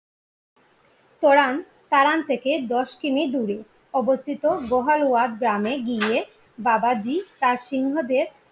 পরান তারান থেকে দশ কিমি দূরে অবস্থিত বহাল ওয়াদ গ্রামে গিয়ে বাবাজি তার সিংহ দের